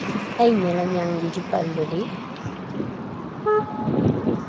a inyalanyang le dipallo le